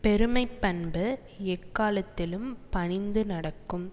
பெருமை பண்பு எக்காலத்திலும் பணிந்து நடக்கும்